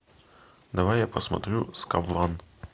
давай я посмотрю скаврон